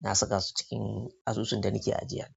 na saka su cikin asusun da nake ajiya.